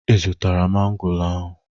Ị zụtara mango ahụ?